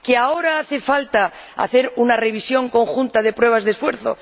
¿Que ahora hace falta una revisión conjunta de pruebas de esfuerzo?